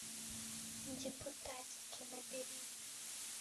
депутатики набери